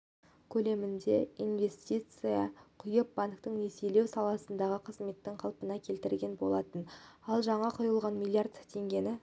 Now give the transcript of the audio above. көлемінде инвестиция құйып банктің несиелеу саласындағы қызметін қалпына келтірген болатын ал жаңа құйылған миллиард теңгені